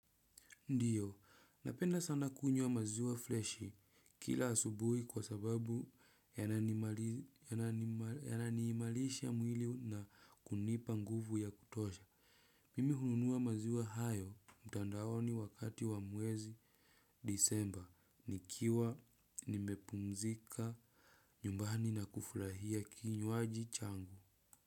Ndiyo, napenda sana kunywa maziwa fleshi kila asubuhi kwa sababu yananiimalisha mwili na kunipa nguvu ya kutosha. Mimi hununua maziwa hayo mtandaoni wakati wa mwezi disemba. Nikiwa nimepumzika nyumbani na kufurahia kinywaji changu.